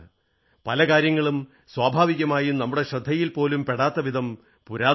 പല കാര്യങ്ങളും സ്വാഭാവികമായും നമ്മുടെ ശ്രദ്ധയിൽ പോലും പെടാത്തവിധം പുരാതനമാണ്